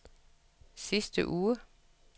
sidste uge